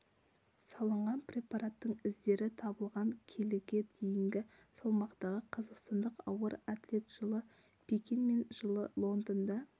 салынған препараттың іздері табылған келіге дейінгі салмақтағы қазақстандық ауыр атлет жылы пекин мен жылы лондонда